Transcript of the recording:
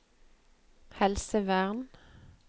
helsevern